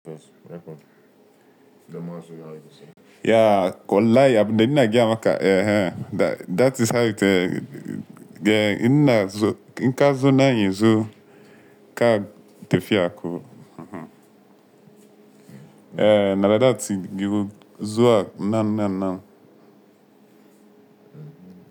Yeah wallahi abin ina gaya maka, ehn, that is how it eh, yeah ina zu, inka zo nan yanzu ka tafiya ko. Eh, na like that tigi zuwa nan nan nan.